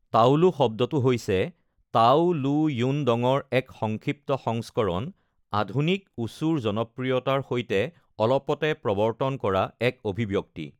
তাওলু শব্দটো হৈছে তাও লু য়ুন ডঙৰ এক সংক্ষিপ্ত সংস্কৰণ, আধুনিক ৱুচুৰ জনপ্ৰিয়তাৰ সৈতে অলপতে প্ৰৱৰ্তন কৰা এক অভিব্যক্তি।